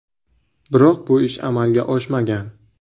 Biroq bu ish amalga oshmagan.